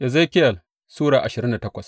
Ezekiyel Sura ashirin da takwas